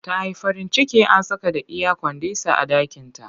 Ta yi farin ciki an saka da iyakwandisah a ɗakinta